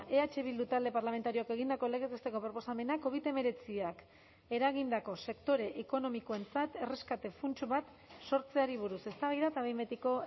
eh bildu talde parlamentarioak egindako legez besteko proposamena covid hemeretziak eragindako sektore ekonomikoentzat erreskate funts bat sortzeari buruz eztabaida eta behin betiko